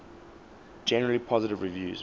generally positive reviews